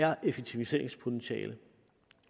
er effektiviseringspotentiale